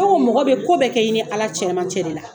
komi mɔgɔ bɛ ko bɛɛ kɛ i ni ala cɛmancɛ de la